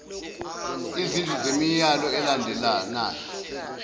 izinhlu zemiyalo elandelanayo